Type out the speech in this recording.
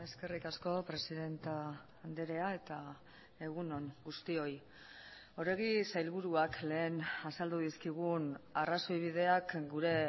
eskerrik asko presidente andrea eta egun on guztioi oregi sailburuak lehen azaldu dizkigun arrazoi bideak gure